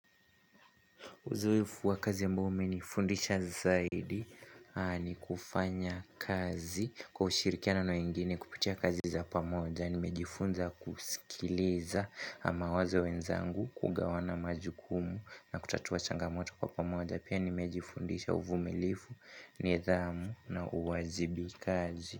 Uzoefu wa kazi ambao umenifundisha zaidi. Ni kufanya kazi kwa ushirikiano na wengine kupitia kazi za pamoja nimejifunza kusikiliza mawazo wenzangu kugawana majukumu na kutatua changamoto kwa pamoja. Pia nimejifundisha uvumilivu nidhamu na uwajibikaji.